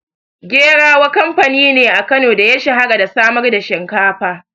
Gerawa kamfani ne a Kano da ya shahara da samar da shinkafa.